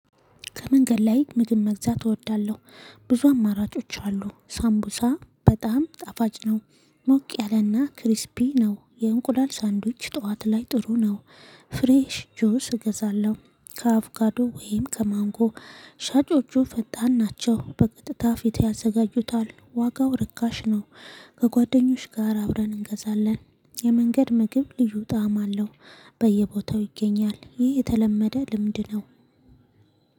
ከመንገድ ላይ ምግብ መግዛት እወዳለሁ። ብዙ አማራጮች አሉ ሳምቡሳ በጣም ጣፋጭ ነው። ሞቅ ያለና ክሪስፒ ነው የእንቁላል ሳንድዊች ጠዋት ላይ ጥሩ ነው። ፍሬሽ ጁስ እገዛለሁ ከአቩካዶ ወይም ከማንጎ። ሻጮቹ ፈጣን ናቸው በቀጥታ ፊቴ ያዘጋጁታል ዋጋው ርካሽ ነው። ከጓደኞች ጋር አብረን እንገዛለን የመንገድ ምግብ ልዩ ጣዕም አለው። በየቦታው ይገኛል ይህ የተለመደ ልምድ ነው